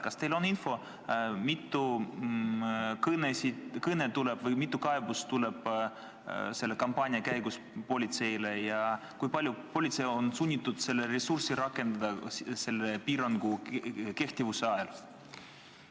Kas teil on infot selle kohta, mitu kõnet või mitu kaebust selle kampaania käigus politseile tuleb ja kui palju ressurssi on politsei sunnitud sellele piirangu kehtivuse ajal rakendama?